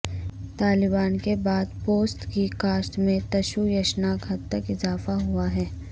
طالبان کے بعد پوست کی کاشت میں تشویشناک حد تک اضافہ ہوا ہے